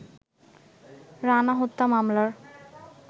রানা হত্যা মামলার